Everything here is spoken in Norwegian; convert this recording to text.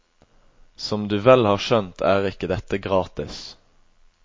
Som du vel har skjønt, er ikke dette gratis.